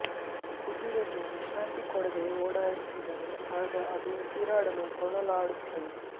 ಕುದುರೆಗೆ ವಿಶ್ರಾಂತಿ ಕೊಡದೆ ಓಡಾಡಿಸಿದರೆ ಆಗ ಅದು ಉಸಿರಾಡಲು ತೊಳಲಾಡುತ್ತದೆ